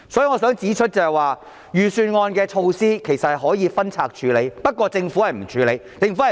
我想指出，預算案的措施可以分拆處理，但政府沒有這樣處理。